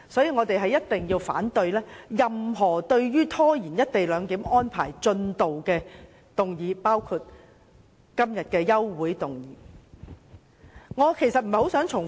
我們反對任何拖延落實"一地兩檢"的議案，包括今天的休會待續議案。